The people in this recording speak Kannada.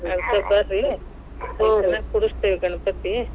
ಅದಕ್ ಬರ್ರೀ ಕುಡಸ್ತೇವ್ ಗಣಪತಿ.